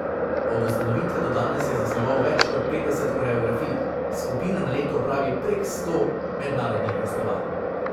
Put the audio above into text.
Od ustanovitve do danes je zasnoval več kot petdeset koreografij, skupina na leto opravi prek sto mednarodnih gostovanj.